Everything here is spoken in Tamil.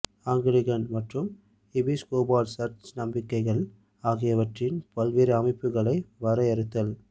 ஆங்கிலிகன் மற்றும் எபிஸ்கோபல் சர்ச் நம்பிக்கைகள் ஆகியவற்றின் பல்வேறு அமைப்புகளை வரையறுத்தல்